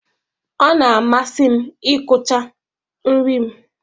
Ọ na-amasị m ịkụcha nri m.